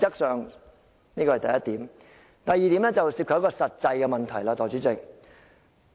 代理主席，第二點則涉及實際的問題。